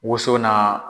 Woson n'a